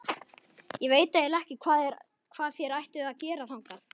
Ég veit eiginlega ekki hvað þér ættuð að gera þangað.